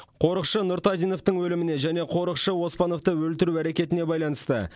қорықшы нұртазиновтың өліміне және қорықшы оспановты өлтіру әрекетіне байланысты